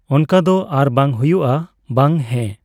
ᱚᱱᱠᱟ ᱫᱚ ᱟᱨ ᱵᱟᱝ ᱦᱩᱭᱩᱜᱼᱟ, ᱵᱟᱝ᱾ ᱦᱮᱸ᱾